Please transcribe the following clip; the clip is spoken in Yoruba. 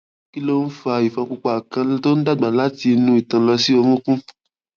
kí ló ń fa ifon pupa kan tó ń dàgbà láti inú itan lọ sí orunkun